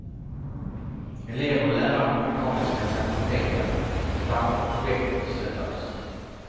Elever och lärare på mekaniska fakulteten startade projektet i söndags.